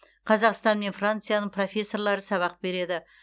қазақстан мен францияның профессорлары сабақ береді